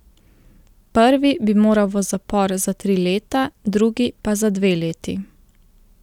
Prvi bi moral v zapor za tri leta, drugi pa za dve leti.